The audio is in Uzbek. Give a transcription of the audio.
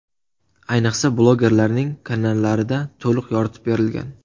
Ayniqsa, blogerlarning kanallarida to‘liq yoritib berilgan.